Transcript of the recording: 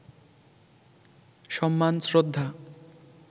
সম্মান, শ্রদ্ধা